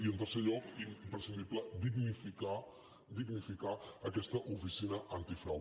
i en tercer lloc imprescindible dignificar dignificar aquesta oficina antifrau